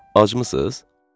Acımısız?